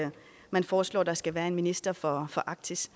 man foreslår at der skal være en minister for arktis